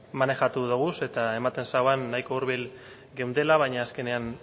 manejatu doguz eta ematen zuen nahiko hurbil geundela baina azkenean